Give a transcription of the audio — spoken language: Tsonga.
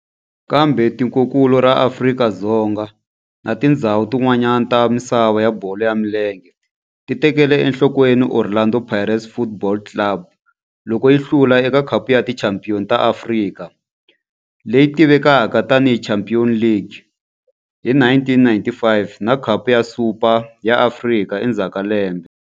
Kambe tikonkulu ra Afrika na tindzhawu tin'wana ta misava ya bolo ya milenge ti tekele enhlokweni Orlando Pirates Football Club loko yi hlula eka Khapu ya Tichampion ta Afrika, leyi tivekaka tani hi Champions League, hi 1995 na Khapu ya Super ya Afrika endzhaku ka lembe.